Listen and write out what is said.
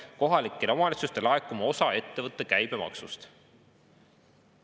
– T. K.] kohalikele omavalitsustele laekuma osa ettevõtete käibemaksust.